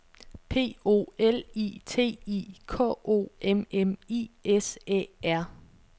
P O L I T I K O M M I S Æ R